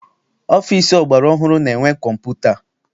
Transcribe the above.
Ọfịịsi ọgbara ọhụrụ na-enwe kọmputa.